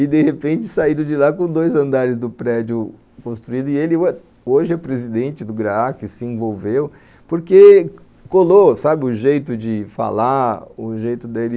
E, de repente, saíram de lá com dois andares do prédio construído e ele hoje é presidente do GRAAC, se envolveu, porque colou, sabe, o jeito de falar, o jeito dele...